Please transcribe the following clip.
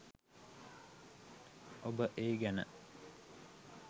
ඔබ ඒ ගැන